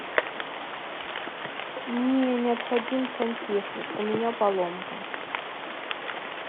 мне необходим сантехник у меня поломка